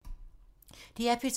DR P2